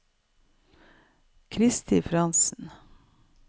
Kristi Frantzen